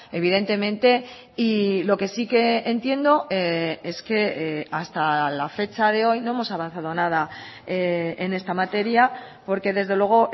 evidentemente y lo que sí que entiendo es que hasta la fecha de hoy no hemos avanzado nada en esta materia porque desde luego